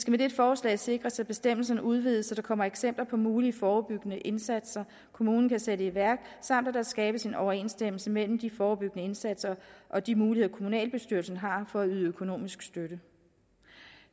med dette forslag sikres at bestemmelserne udvides så der kommer eksempler på mulige forebyggende indsatser kommunen kan sætte i værk samt at der skabes en overensstemmelse mellem de forebyggende indsatser og de muligheder kommunalbestyrelsen har for at yde økonomisk støtte